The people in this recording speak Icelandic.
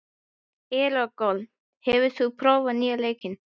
Eragon, hefur þú prófað nýja leikinn?